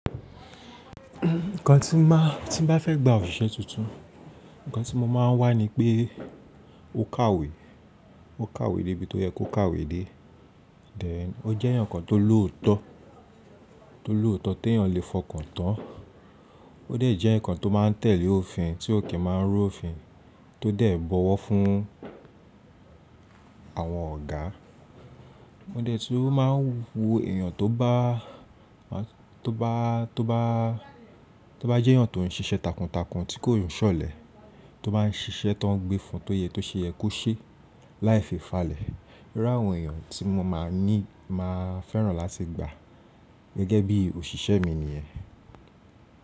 Nǹkan tí má tí bá fẹ́ gba òṣìṣẹ́ tuntun, nǹkan tí mo máa ń wá ni pé ó kàwé, ó kàwé débi tó yẹ kó kàwé dé. Then o jẹ́ eyan kan tó lòótọ́, tó lòótọ́ tí èèyàn lè fọkàn tán. Ó dẹ̀ jẹ́ eyan kan tó máa tẹ̀lé òfin, tí ò ki máa ń rú òfin tó de bọwọ́ fún àwọn ọ̀gá. Ó dẹ̀ tu máa ń wo èèyàn tó bá, tó bá, tó bá, tó bá jẹ́ eyàn tó ń ṣiṣẹ́ takuntakun tí kò ṣọ̀lẹ, tó máa ń ṣiṣẹ́ tó ń gbé fun tó yẹ tó ṣe yẹ kó ṣe láì fi ìfalẹ̀. Irú àwọn èèyàn tí mo máa ní máa fẹ́ràn láti gba gẹ́gẹ́ bí òṣìṣẹ́ mi nìyẹn.